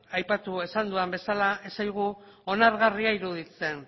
aipatu dudan bezala ez zaigu onargarria iruditzen